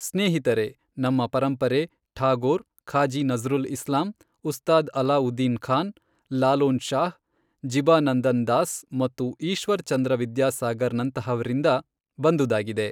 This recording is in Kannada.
ಸ್ನೇಹಿತರೇ, ನಮ್ಮ ಪರಂಪರೆ, ಠಾಗೋರ್, ಖಾಜಿ ನಝ್ರುಲ್ ಇಸ್ಲಾಂ, ಉಸ್ತಾದ್ ಅಲಾಉದ್ದೀನ್ ಖಾನ್, ಲಾಲೊನ್ ಶಾಹ್, ಜಿಬಾನಂದನ್ ದಾಸ್ ಮತ್ತು ಈಶ್ವರ್ ಚಂದ್ರ ವಿದ್ಯಾ ಸಾಗರ್ ನಂತಹವರಿಂದ ಬಂದುದಾಗಿದೆ.